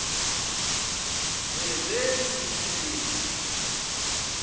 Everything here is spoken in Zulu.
wezemisebenzi